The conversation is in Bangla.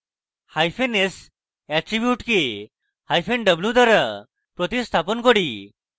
hyphen s attribute কে hyphen w দ্বারা প্রতিস্থাপন করি